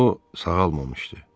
O sağalmamışdı.